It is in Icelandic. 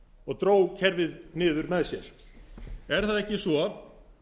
og dró kerfið niður með sér er það ekki svo